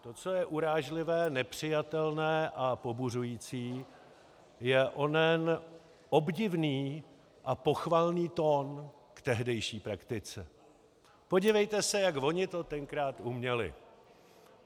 To, co je urážlivé, nepřijatelné a pobuřující, je onen obdivný a pochvalný tón k tehdejší praktice: Podívejte se, jak oni to tenkrát uměli.